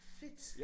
Fedt